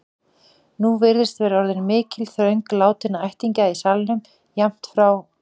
Nú virðist vera orðin mikil þröng látinna ættingja í salnum, jafnt frá